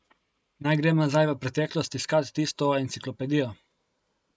Naj grem nazaj v preteklost iskat tisto enciklopedijo?